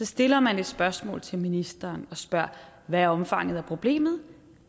stiller man et spørgsmål til ministeren og spørger hvad omfanget af problemet